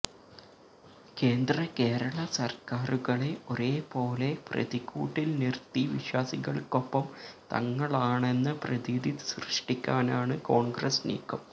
കേന്ദ്ര കേരള സര്ക്കാറുകളെ ഒരേ പോലെ പ്രതിക്കൂട്ടില് നിര്ത്തി വിശ്വാസികള്ക്കൊപ്പം തങ്ങളാണെന്ന പ്രതീതി സൃഷ്ടിക്കാനാണ് കോണ്ഗ്രസ് നീക്കം